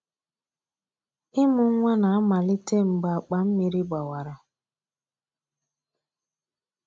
Ịmụ nwa na-amalite mgbe akpa mmiri gbawara.